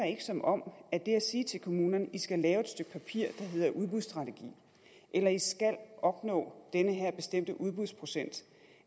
som om det at sige til kommunerne i skal lave et stykke papir der hedder udbudsstrategi eller i skal opnå den her bestemte udbudsprocent